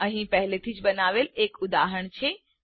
અહીં પહેલેથી જ બનાવેલ છે એક ઉદાહરણ છે